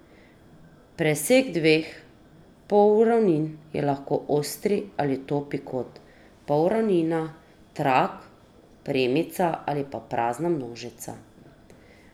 Presek dveh polravnin je lahko ostri ali topi kot, polravnina, trak, premica ali pa prazna množica.